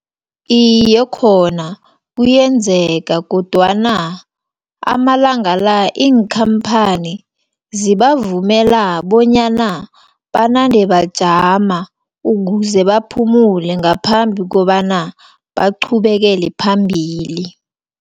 Iye, khona kuyenzeka, kodwana amalanga la, iinkhamphani zibavumela bonyana banande bajama, ukuze baphumule, ngaphambi kobana baqhubekele phambili.